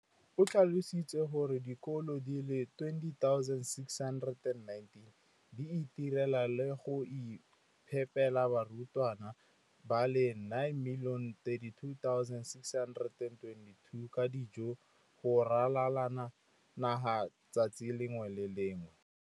O tlhalositse gore dikolo di le 20 619 di itirela le go iphepela barutwana ba le 9 032 622 ka dijo go ralala naga letsatsi le lengwe le le lengwe.